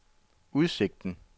udsigten